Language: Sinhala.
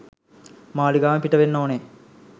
මාලිගාවෙන් පිට වෙන්න ඕනේ.